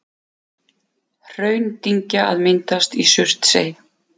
Hraundyngja að myndast í Surtsey.